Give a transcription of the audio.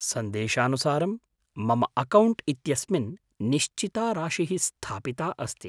सन्देशानुसारं, मम अकौण्ट् इत्यस्मिन् निश्चिता राशिः स्थापिता अस्ति।